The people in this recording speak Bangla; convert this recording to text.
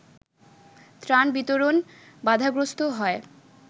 ত্রাণ বিতরণ বাধাগ্রস্ত হয়